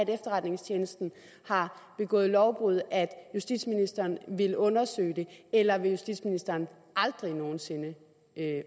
efterretningstjeneste har begået lovbrud at justitsministeren vil undersøge det eller vil justitsministeren aldrig nogen sinde